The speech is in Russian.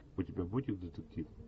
у тебя будет детектив